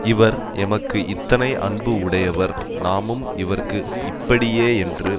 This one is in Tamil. இவர் எமக்கு இத்தனை அன்பு உடையவர் நாமும் இவர்க்கு இப்படியே என்று